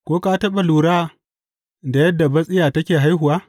Ko ka taɓa lura da yadda batsiya take haihuwa?